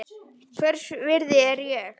Hvers virði er ég?